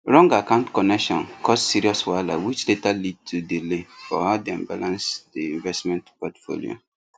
wrong account connection cause serious wahala which later lead to delay for how dem balance the investment portfolio